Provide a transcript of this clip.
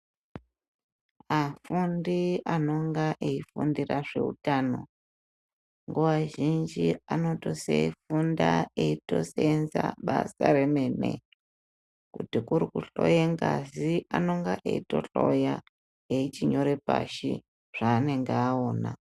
Ashandi anonga eifundira zveutano, nguwa zhinji anotosifunda eitoseenza basa remene . Kuti kuri kuhloye ngazi anenge eitohloya, echinyora pashi zvaanenge aona.